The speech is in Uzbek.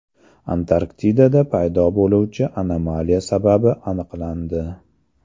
Antarktidada paydo bo‘luvchi anomaliya sababi aniqlandi.